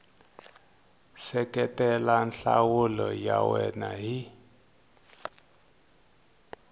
seketela nhlamulo ya wena hi